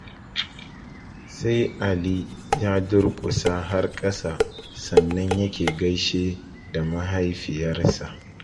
Sai Ali ya durƙusa har kasa sannan yake gaishe da mahaifiyarsa.